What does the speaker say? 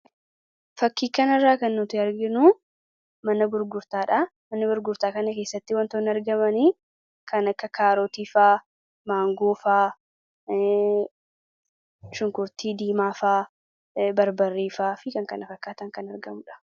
Fakkii kanarraa kan nuti arginuu mana gurgurtaa dhaa. Mana gurgurtaa kana keessatti wantoonni argamanii kan akka kaarotii faa, maangoo faa, shunkurtii diimaa faa, barbarree faa fi kan kana fakkaatan kan argamu dha.